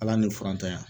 Ala ni furantanya